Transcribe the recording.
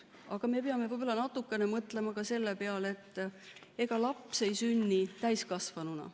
Aga me peame võib-olla natukene mõtlema ka selle peale, et ega laps ei sünni täiskasvanuna.